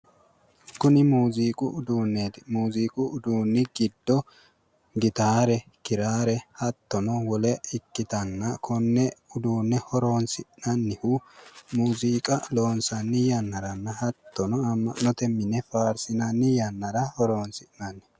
Kuni muuziiqu uduuneeti. Muuziiqu uduunni giddo gitaare, kiraare hattono wole ikkitanna. Konne uduunne horonsi'nannihu muuziiqa loonsanni yannaranna hattono amma'note mine faarsinanni yannara horoonsi'nanni.